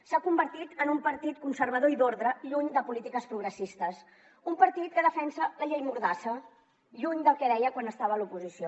s’ha convertit en un partit conservador i d’ordre lluny de polítiques progressistes un partit que defensa la llei mordassa lluny del que deia quan estava a l’oposició